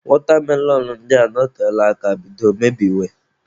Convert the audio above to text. Watermelon ndị a anọtela aka bido mebiwe.